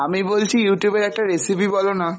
আমি বলছি Youtube এর একটা recipe বলো না